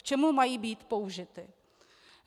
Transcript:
K čemu mají být použity.